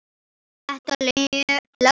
Var þetta löggan?